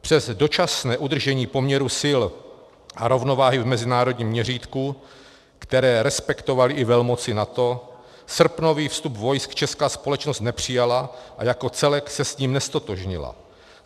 Přes dočasné udržení poměrů sil a rovnováhy v mezinárodním měřítku, které respektovaly i velmoci NATO, srpnový vstup vojsk česká společnost nepřijala a jako celek se s ním neztotožnila.